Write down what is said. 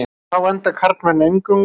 Þá mynda karlmenn eingöngu.